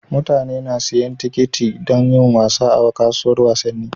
Mutane na siyan tikiti dan yin wasa a kasuwar wasanni